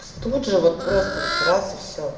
тут же вот просто вот раз и все